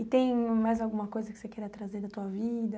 E tem mais alguma coisa que você queira trazer da sua vida?